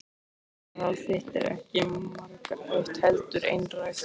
Augnaráð þitt er ekki margrætt heldur einrætt.